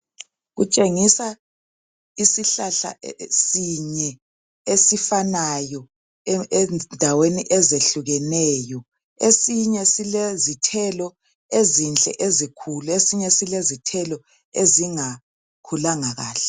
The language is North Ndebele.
Kutshengisa isihlahla sinye esifanayo endaweni ezehlukeneyo esinye silezithelo ezinhle ezikhulu esinye silezithelo ezingakhulanga kahle.